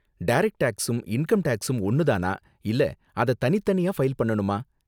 Direct டேக்ஸும் income டேக்ஸும் ஒன்னு தானா இல்ல அத தனித்தனியா ஃபைல் பண்ணனுமா?